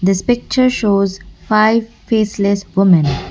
this picture shows five faceless women .]